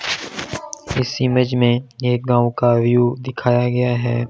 इस इमेज में यह गांव का व्यू दिखाया गया है।